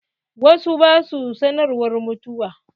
Wasu ba sua sanarwar mutuwa.